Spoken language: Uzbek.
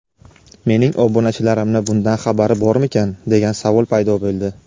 mening obunachilarimni bundan xabari bormikan degan savol paydo bo‘ldi.